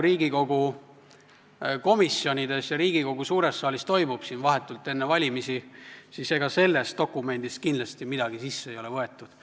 Riigikogu komisjonides ja Riigikogu suures saalis praegu, vahetult enne valimisi, siis ega sellest dokumendist ei ole midagi arvestatud.